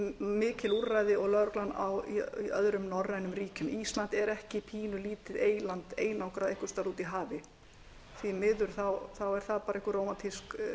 jafnmikil úrræði og lögreglan í öðrum norrænum ríkjum ísland er ekki pínulítið eyland einangrað einhvers staðar úti í hafi því miður er það bara einhver rómantísk